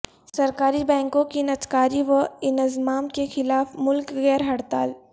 سرکاری بینکوں کی نجکاری و انضمام کے خلاف ملک گیر ہڑتال